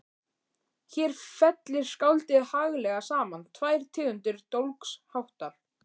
Hér fellir skáldið haglega saman tvær tegundir dólgsháttar